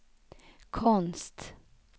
konst